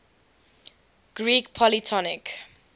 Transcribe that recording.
greek polytonic